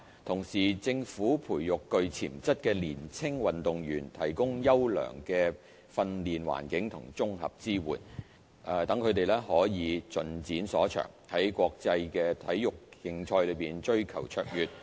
同時，政府培育具潛質的年輕運動員，提供優良的訓練環境及綜合支援，讓他們可以盡展所長，在國際體育競賽追求卓越。